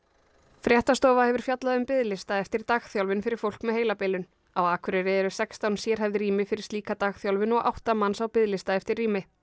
fréttastofa hefur fjallað um biðlista eftir dagþjálfun fyrir fólk með heilabilun á Akureyri eru sextán sérhæfð rými fyrir slíka dagþjálfun og átta manns á biðlista eftir rými